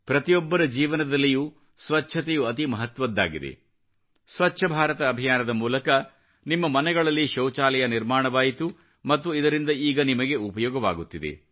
ಪ್ರತಿಯೊಬ್ಬರ ಜೀವನದಲ್ಲಿಯೂ ಸ್ವಚ್ಚತೆಯು ಅತೀ ಮಹತ್ವದ್ದಾಗಿದೆ ಸ್ವಚ್ಚ ಭಾರತ ಅಭಿಯಾನದ ಮೂಲಕ ನಿಮ್ಮ ಮನೆಗಳಲ್ಲಿ ಶೌಚಾಲಯ ನಿರ್ಮಾಣವಾಯಿತು ಮತ್ತು ಇದರಿಂದ ಈಗ ನಿಮಗೆ ಉಪಯೋಗವಾಗುತ್ತಿದೆ